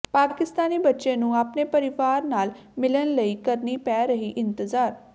ਪਾਕਿਸਤਾਨੀ ਬੱਚੇ ਨੂੰ ਆਪਣੇ ਪਰਿਵਾਰ ਨਾਲ ਮਿਲਣ ਲਈ ਕਰਨੀ ਪੈ ਰਹੀ ਇੰਤਜ਼ਾਰ